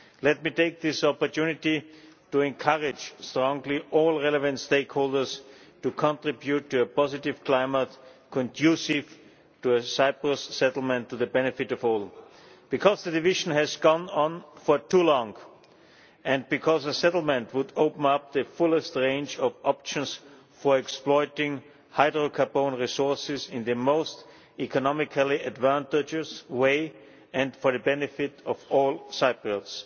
Let me take this opportunity to encourage strongly all relevant stakeholders to contribute to a positive climate conducive to a Cyprus settlement to the benefit of all, because the division has gone on for too long, and because a settlement would open up the fullest range of options for exploiting hydrocarbon resources in the most economically advantageous way and for the benefit of all Cypriots.